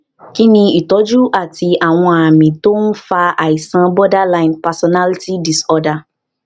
kí ni ìtọjú àti àwọn àmì tó ń fa àìsàn cs] borderline personality disorder